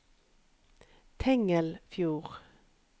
Tengelfjord